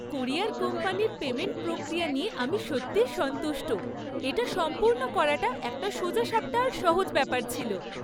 Courier কোম্পানির payment প্রক্রিয়া নিয়ে আমি সত্যিই সন্তুষ্ট। এটা সম্পূর্ণ করাটা একটা সোজা সাপটা আর সহজ ব্যাপার ছিল।